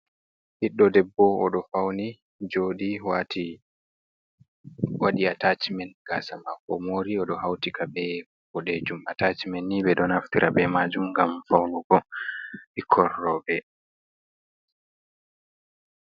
Ɓiɗɗo debbo oɗo fauni joɗi wati waɗi atacimen gasa mako oɗo mori oɗo hautika be boɗejum atacmen ni ɓe ɗo naftira be majum ngam faunugo ɓikkoi roɓɓe.